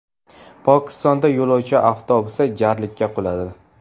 Pokistonda yo‘lovchi avtobusi jarlikka quladi.